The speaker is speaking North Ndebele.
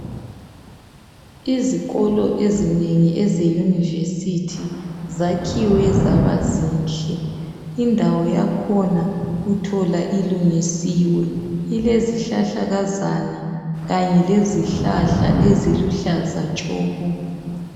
Ezikolo ezinengi ezeYunivesithi zakhiwe zaba zinhle, indawo yakhona uthola ilungisiwe ilezihlahlakazana kanye lezihlahla eziluhlaza tshoko.